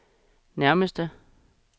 nærmeste